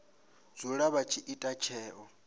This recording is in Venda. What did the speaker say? dzula vha tshi ita tsheo